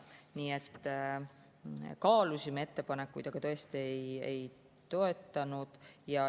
Nii et kaalusime ettepanekuid ja tõesti neid ei toetanud.